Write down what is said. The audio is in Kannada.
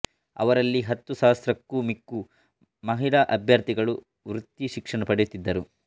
ಅವರಲ್ಲಿ ಹತ್ತು ಸಹಸ್ರಕ್ಕೂ ಮಿಕ್ಕು ಮಹಿಳಾ ಅಭ್ಯರ್ಥಿಗಳು ವೃತ್ತಿ ಶಿಕ್ಷಣ ಪಡೆಯುತ್ತಿದ್ದರು